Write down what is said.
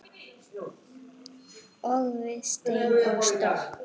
Og við stein er stopp.